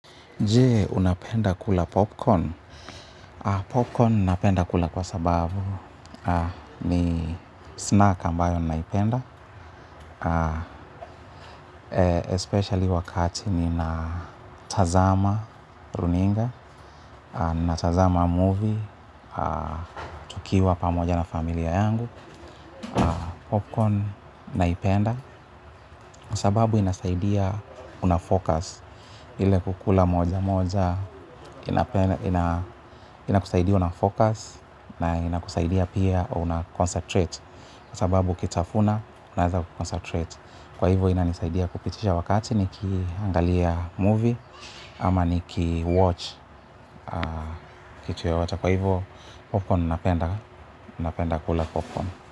Je, unapenda kula popcorn? Popcorn napenda kula kwa sababu ni snack ambayo ninaipenda, especially wakati ninatazama runinga, natazama movie, tukiwa pamoja na familia yangu. Popcorn naipenda kwa sababu inasaidia unafocus ile kukula moja moja ina ina kusaidia unafocus na ina kusaidia pia una concentrate kwa sababu ukitafuna unaweza kuconcentrate kwa hivyo inanisaidia kupitisha wakati niki angalia movie ama nikiwatch kitu yoyote kwa hivyo popcorn napenda napenda kula popcorn.